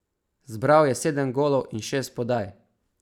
Zbral je sedem golov in šest podaj.